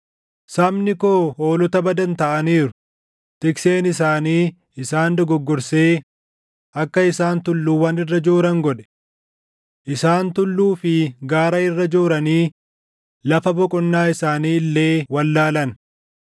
“Sabni koo hoolota badan taʼaniiru; tikseen isaanii isaan dogoggorsee akka isaan tulluuwwan irra jooran godhe. Isaan tulluu fi gaara irra jooranii lafa boqonnaa isaanii illee wallaalan.